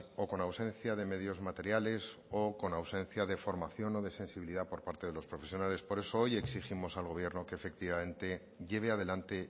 o con ausencia de medios materiales o con ausencia de formación o de sensibilidad por parte de los profesionales por eso hoy exigimos al gobierno que efectivamente lleve adelante